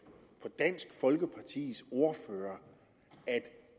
på dansk folkepartis ordfører at